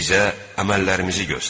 Bizə əməllərimizi göstər.